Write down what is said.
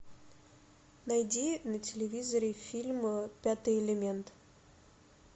найди на телевизоре фильм пятый элемент